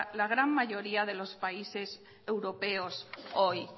la gran mayoría de los países europeos hoy